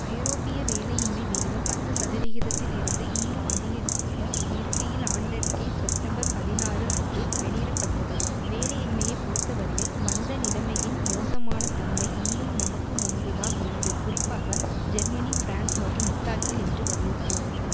ஐரோப்பிய வேலையின்மை விகிதம் பத்து சதவிகிதத்தில் இருந்து இன்னும் அதிகரிக்க இருக்கையில் ஆண்டறிக்கை செப்டம்பர் பதினாறு அன்று வெளியிட பட்டது வேலையின்மையை பொறுத்தவரையில் மந்த நிலமையின் மோசமான தன்மை இன்னும் நமக்கு முன்புதான் உள்ளது குறிப்பாக ஜெர்மனி பிரான்ஸ் மற்றும் இத்தாலியில் என்று வலியுறுத்தியுள்ளது